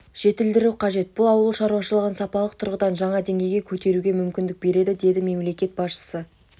жетілдіру қажет бұл ауыл шаруашылығын сапалық тұрғыдан жаңа деңгейге көтеруге мүмкіндік береді деді мемлекет басшысы